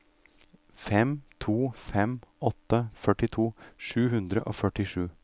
fem to fem åtte førtito sju hundre og førtisju